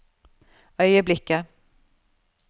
øyeblikket